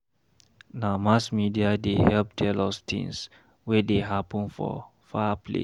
Na mass media dey help tell us tins wey dey happen for far place.